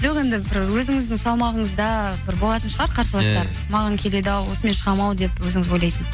жоқ енді бір өзіңіздің салмағыңызда бір болатын шығар қарсыластар маған келеді ау осымен шығам ау деп өзіңіз ойлайтын